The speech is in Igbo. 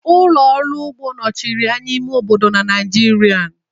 Ụlọ ọrụ ugbo nọchiri anya ime obodo na Naijiria.